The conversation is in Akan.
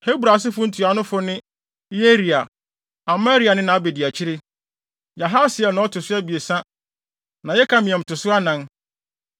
Hebron asefo ntuanofo ne: Yeria; Amaria ne nʼabediakyiri, Yahasiel na ɔto so abiɛsa na Yekameam to so anan.